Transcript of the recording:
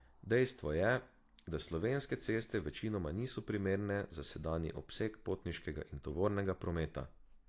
Dejstvo je, da slovenske ceste večinoma niso primerne za sedanji obseg potniškega in tovornega prometa.